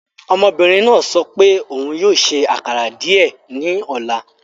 Ọmọbinrin naa sọ pe oun yoo ṣe akara diẹ ni ọla